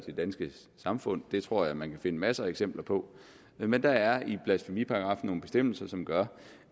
det danske samfund det tror jeg man kan finde masser af eksempler på men der er i blasfemiparagraffen nogle bestemmelser som gør